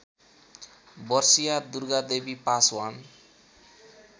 वर्षीया दुर्गादेवी पासवान